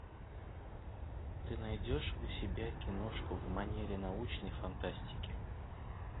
ты найдешь у себя киношку в манере научной фантастики